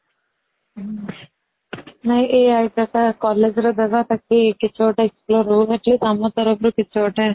ନାଇ ଏଇ idea ଟା college ରେ ଡବା ତାକି କିଛି ଗୋଟା ଆମ ତରଫରୁ କିଛି ଗୋଟେ